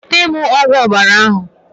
Nweta m ogwu ọbara ahụ!